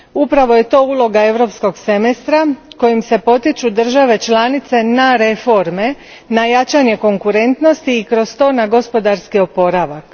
Upravo je to uloga Europskog semestra, kojim se potiču države članice na reforme, jačanje konkurentnosti i kroz to na gospodarski oporavak.